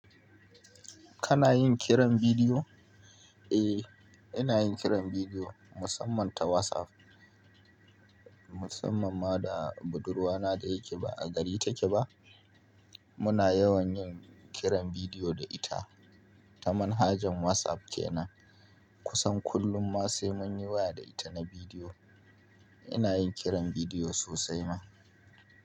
Kana yin kiran bidiyo? E, ina yin kiran video musamman ta WhatsApp. Musamman ma da budurwana da yake ba a gari take ba. Muna yawan yin kiran video da ita. Ta manhajar WhatsApp kenan. Kusan kullum ma sai mun yi waya da ita na bidiyo. Ina yin kiran bidiyo sosai ma.